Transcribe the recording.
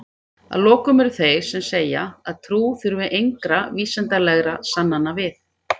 Að lokum eru þeir sem segja að trú þurfi engra vísindalegra sannana við.